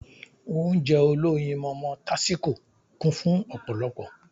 Ounjẹ olóyinmọmọ tásíko kún fun ọ̀pọ̀lọpọ̀